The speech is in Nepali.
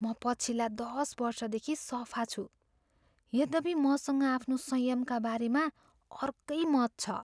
म पछिल्ला दस वर्षदेखि सफा छु यद्यपि मसँग आफ्नो संयमका बारेमा अर्कै मत छ।